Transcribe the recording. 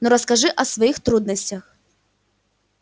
но расскажи о своих трудностях